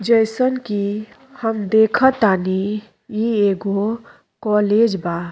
जईसन की हम देखत तानी ई एगो कॉलेज बा।